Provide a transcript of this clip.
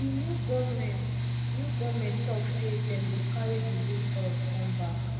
di new goment new goment tok say dem go carry di road tolls come back